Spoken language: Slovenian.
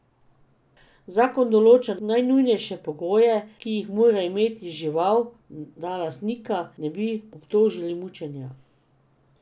Zakon določa najnujnejše pogoje, ki jih mora imeti žival, da lastnika ne bi obtožili mučenja.